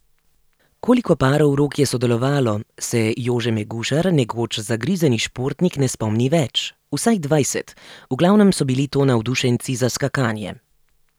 Koliko parov rok je sodelovalo, se Jože Megušar, nekoč zagrizeni športnik, ne spomni več, vsaj dvajset, v glavnem so bili to navdušenci za skakanje.